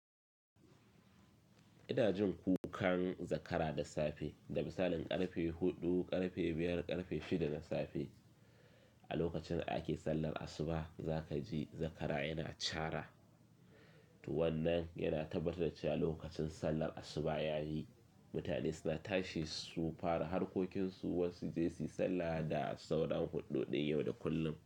Ina jin kukan zakara da safe, da misalin ƙarfe huɗu, ƙarfe biyar, ƙarfe shida na safe. A lokacin ake sallar asuba za ka ji zakara yana chaara. To wannan yana tabbatar cewa lokacin sallar asuba yayi. Mutane suna tashi sun fara harkokinsu, wasu je su yi sallah da sauran huɗuɗin yau da kullum.